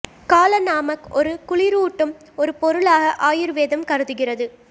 கால நாமக் ஒரு குளிரூட்டும் ஒரு பொருளாக ஆயுர்வேதம் கருதுகிறது